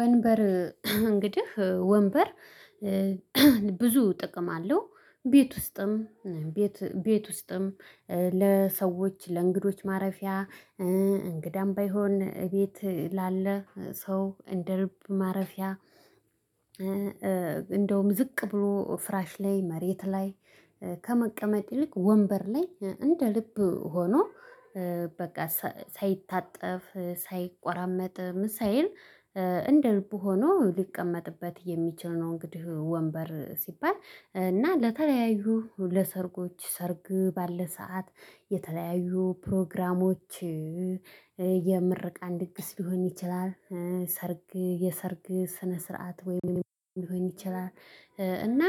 ወንበር እንግዲህ ወንበር ብዙ ጥቅም አለው ቤት ውስጥም ቤት ውስጥም ለሰዎች ለእንግዶች ማረፊያ እንግዳም ባይሆን እቤት ላለ ሰው እንደ ልብ ማረፊያ። እንደውም ዝቅ ብሎ ፍራሽ ላይ መሬት ላይ ከመቀመጥ ይልቅ ወንበር ላይ እንደ ልብ ሆኖ በቃ ሳይታጠፍ ሳይቆራመጥ ምን ሳይል እንደ ልቡ ሆኖ ሊቀመጥበት የሚችል ነው። እንግዲህ ወንበር ሲባል እና ለተለያዩ ለሰርጎች ሰርግ ባለ ሰዓት የተለያዩ ፕሮግራሞች የምርቃን ድግስ ግስ ሊሆን ይችላል። ሰርግ የሰርግ ስነ ስርዓት ወይም ሊሆን ይችላል። እና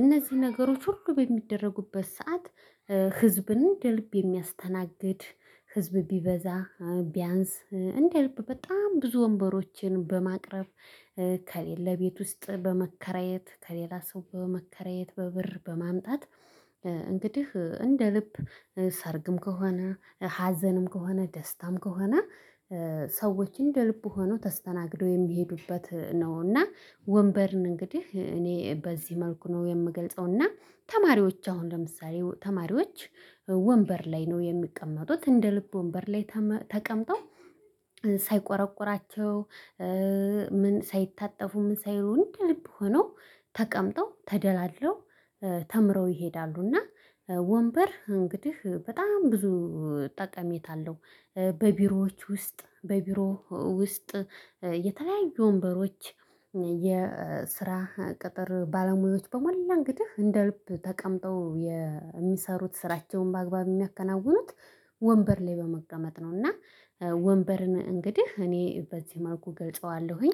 እነዚህ ነገሮች ሁሉ በሚደረጉበት ሰዓት ህዝብን የልብ የሚያስተናግድ ህዝብ ቢበዛ ቢያንስ እንደ ልብ በጣም ብዙ ወንበሮችን በማቅረብ ከሌለ ቤት ውስጥ በመከራየት ከሌላ ሰው በመከራየት በብር በማምጣት። እንግዲህ እንደ ልብ ሰርግም ከሆነ ሀዘንም ከሆነ ደስታም ከሆነ ሰዎችን እንደ ልቡ ሆኖ ተስተናግደው የሚሄዱበት ነው። እና ወንበርን እንግዲህ እኔ በዚህ መልኩ ነው የምገልጸው። እና ተማሪዎች አሁን ለምሳሌ ተማሪዎች ወንበር ላይ ነው የሚቀመጡት እንደ ልቡ ወንበር ላይ ተቀምጠው ሳይቆረቁራቸው ምን ሳይታጠፉ ምን ሳይሉ እንደ ልብ ሆኖ ተቀምጠው ተደላድለው ተምረው ይሄዳሉና። ወንበር እንግዲህ በጣም ብዙ ጠቀሜታ አለው። በቢሮዎች ውስጥ በቢሮ ውስጥ የተለያዩ ወንበሮች የስራ ቅጥር ባለሙያዎች በመላ እንግዲህ እንደ ልብ ተቀምጠው የሚሰሩት ስራቸውን በአግባብ የሚያከናውኑት ወንበር ላይ በመቀመጥ ነው። እና ወንበርን እንግዲህ እኔ በዚህ መልኩ ገልጸዋለሁኝ